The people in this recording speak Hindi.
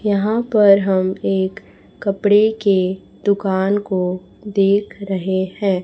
यहां पर हम एक कपड़े के दुकान को देख रहे है।